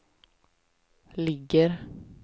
ligger